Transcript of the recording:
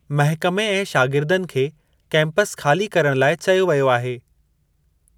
महिकमे ऐं शागिर्दनि खे कैंपस ख़ाली करणु लाइ चयो वियो आहे।